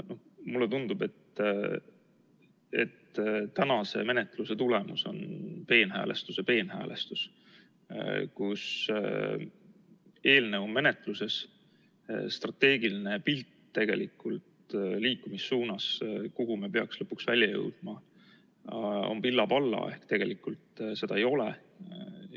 Mulle tundub, et tänase menetluse tulemus on peenhäälestuse peenhäälestus, mille korral eelnõu menetlemisel on strateegiline siht, see, kuhu me peaks lõpuks välja jõudma, pilla-palla ehk tegelikult seda ei ole.